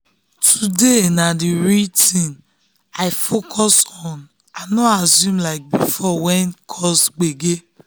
today na the real thing um i um focus on i no um assume like before wey cause gbege.